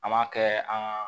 An m'a kɛ an ka